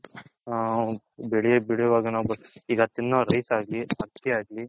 ಆ ಬೆಳ್ಳೆ ಬೇಳಿಯುವಾಗ ನಾವು ಈಗ ತಿನ್ನೋ rice ಆಗ್ಲಿ ಆಕ್ಕಿ ಆಗ್ಲಿ